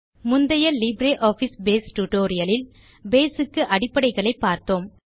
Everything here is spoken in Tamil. முந்தைய லிப்ரியாஃபிஸ் பேஸ் tutorialஇல் நாம் பேஸ் க்கு அடிப்படைகளை பார்த்தோம்